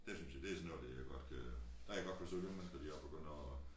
Dét synes jeg det sådan noget dér jeg godt kan der kan jeg godt forstå de unge mennesker de også begynder at